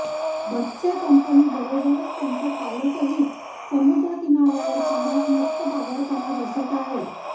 बच्चे कंपनी बरोबरच त्यांचे पालकही समुद्रकिनार्यावर पाण्यात मस्त बागडताना दिसत आहेत